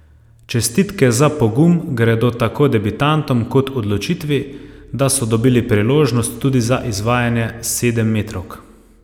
Čestitke za pogum gredo tako debitantom kot odločitvi, da so dobili priložnost tudi za izvajanje sedemmetrovk.